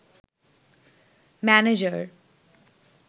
manager